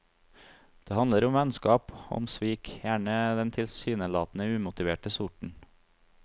Det handler om vennskap og om svik, gjerne av den tilsynelatende umotiverte sorten.